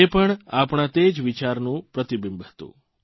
તે પણ આપણા તે જ વિચારનું પ્રતિબિંબ હતું